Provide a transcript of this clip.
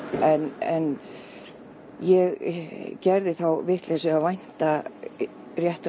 en ég gerði þá vitleysu að vænta réttrar